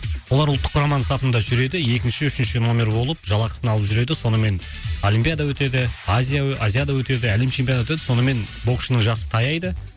олар ұлттық құраманың сатында жүреді екінші үшінші нөмір болып жалақысын алып жүреді сонымен олимпиада өтеді азия азияда өтеді әлем чемпионаты өтеді сонымен боксшының жасы таяйды